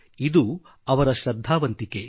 ಇದು ಅವರ ಶ್ರದ್ಧಾವಂತಿಕೆ